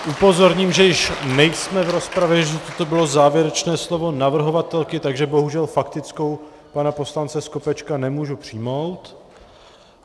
Upozorním, že již nejsme v rozpravě, že toto bylo závěrečné slovo navrhovatelky, takže bohužel faktickou pana poslance Skopečka nemůžu přijmout.